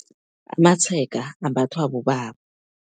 Amatshega ambathwa bobaba.